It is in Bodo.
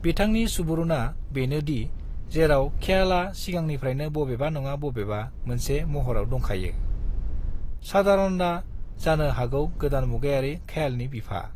बिथांनि सुबुरुना बेनो दि जेराव ख्याला सिगांनिफ्रायनो बबेबा नङा बबेबा मोनसे महराव दंखायो, सादारंआ जानो हागौ गोदान मुगायारि ख्यालनि बिफा।